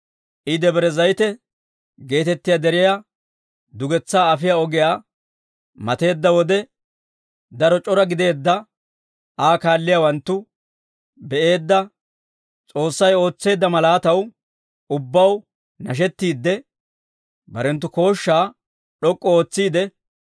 I Debre Zayite geetettiyaa deriyaa dugetsaa afiyaa ogiyaa mateedda wode, daro c'ora gideedda Aa kaalliyaawanttu be'eedda S'oossay ootseedda malaataw ubbaw nashettiide, barenttu kooshshaa d'ok'k'u ootsiide,